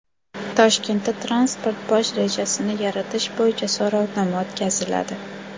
Toshkentda transport bosh rejasini yaratish bo‘yicha so‘rovnoma o‘tkaziladi.